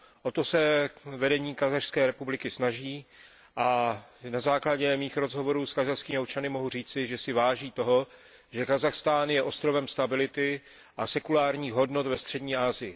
O to se vedení Kazašské republiky snaží a na základě mých rozhovorů s kazašskými občany mohu říci, že si váží toho, že Kazachstán je ostrovem stability a sekulárních hodnot ve střední Asii.